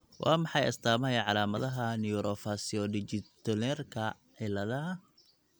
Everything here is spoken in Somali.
Waa maxay astamaha iyo calaamadaha Neurofaciodigitorenalka ciladaha?